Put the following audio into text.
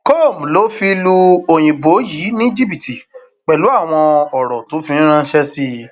com ló fi ń lu òyìnbó yìí ní jìbìtì pẹlú àwọn ọrọ tó fi ń ránṣẹ sí i